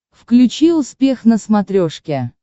включи успех на смотрешке